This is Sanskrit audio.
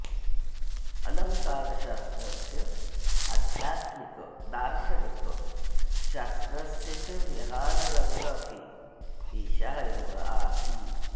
अलङ्कारशास्त्रस्य आध्यात्मिकदार्शनिकशास्त्रस्य च विहाररङ्गः अपि एषा एव आसीत्